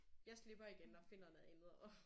Jeg slipper igen og finder noget andet at